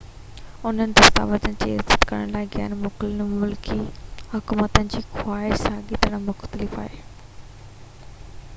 انهن دستاويزن جي عزت ڪرڻ لاءِ غير ملڪي حڪومتن جي خواهش ساڳي طرح مختلف آهي